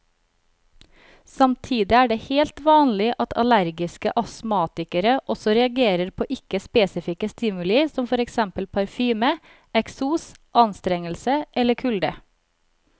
Samtidig er det helt vanlig at allergiske astmatikere også reagerer på ikke spesifikke stimuli som for eksempel parfyme, eksos, anstrengelse eller kulde.